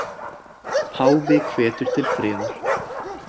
Páfi hvetur til friðar